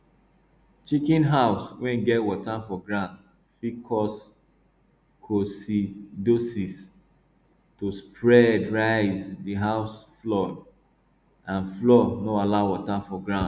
chicken house wey get water for ground fit cause coccidiosis to spreadraise the house floor and floor and no allow water for ground